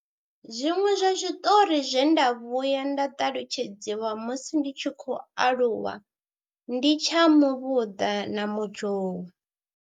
Zwiṅwe zwa zwiṱori zwe nda vhuya nda ṱalutshedziwa musi ndi tshi khou aluwa ndi tsha muvhuḓa na muzhou.